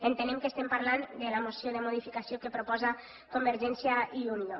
entenem que estem parlant de la moció de modificació que proposta convergència i unió